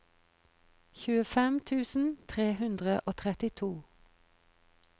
tjuefem tusen tre hundre og trettito